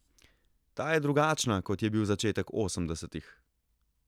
Ta je drugačna, kot je bil začetek osemdesetih.